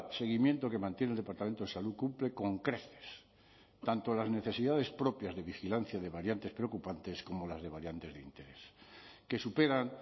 seguimiento que mantiene el departamento de salud cumple con creces tanto las necesidades propias de vigilancia de variantes preocupantes como las de variantes de interés que superan